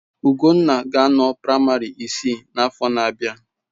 Ugonna ga-anọ na praịmarị isii n'afọ na-abịa.